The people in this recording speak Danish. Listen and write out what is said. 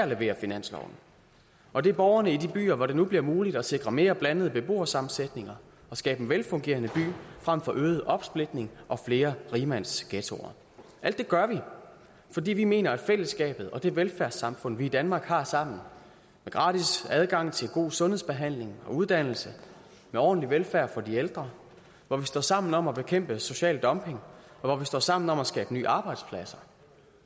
leverer finansloven og det er borgerne i de byer hvor det nu bliver muligt at sikre mere blandede beboersammensætninger og skabe en velfungerende by frem for øget opsplitning og flere rigmandsghettoer alt det gør vi fordi vi mener noget fællesskabet og det velfærdssamfund vi i danmark har sammen med gratis adgang til god sundhedsbehandling og uddannelse med ordentlig velfærd for de ældre hvor vi står sammen om at bekæmpe social dumping hvor vi står sammen om at skabe nye arbejdspladser